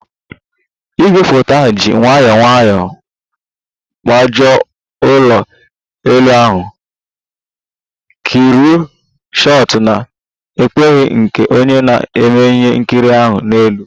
Igwefoto ahụ ji nwayọọ nwayọọ gbagoo ụlọ elu ahụ, kreenu shot na-ekpughe nke onye na-eme ihe nkiri ahụ n'elu